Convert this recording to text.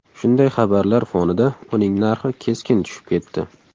Shunday xabarlar fonida uning narxi keskin tushib ketdi.